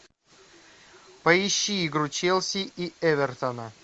поищи игру челси и эвертона